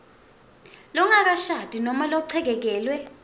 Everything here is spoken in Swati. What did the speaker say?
longakashadi nobe lochekekelwe